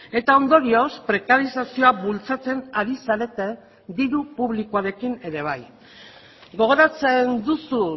eta ondorioz prekarizazioa bultzatzen ari zarete diru publikoarekin ere bai gogoratzen duzu